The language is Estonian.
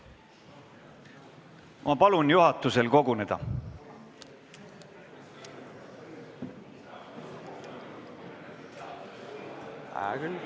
Ma palun juhatusel koguneda!